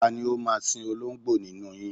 Ta ni ó máa sin oló̩ǹgbò nínú yin?